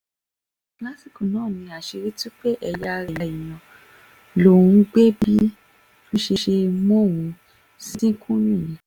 lásìkò náà ni àṣírí tú pé ẹ̀yà ara èèyàn lòún gbé bí um wọ́n ṣe ṣe mú òun um ṣìnkún nìyẹn